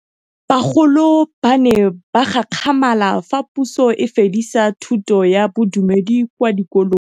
Bagolo ba ne ba gakgamala fa Pusô e fedisa thutô ya Bodumedi kwa dikolong.